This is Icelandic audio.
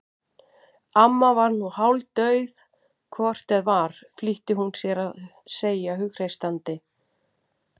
Amma var nú hálfdauð hvort eð var flýtti hún sér að segja hughreystandi.